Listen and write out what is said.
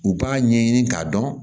U b'a ɲɛɲini k'a dɔn